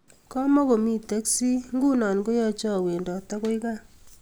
komukomi teksit ,nguno koyacha awendot akoi kaa